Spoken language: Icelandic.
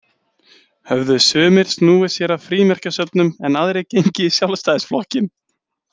Höfðu sumir snúið sér að frímerkjasöfnun en aðrir gengið í Sjálfstæðisflokkinn.